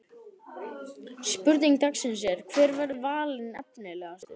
Spurning dagsins er: Hver verður valinn efnilegastur?